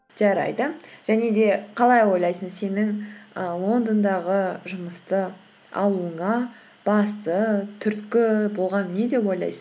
жарайды және де қалай ойлайсың сенің і лондондағы жұмысты алуыңа басты түрткі болған не деп ойлайсың